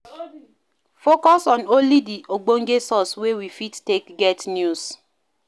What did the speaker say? Focus on only di ogbonge sources wey we fit take get news